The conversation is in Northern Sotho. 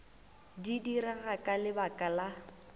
di direga ka lebaka la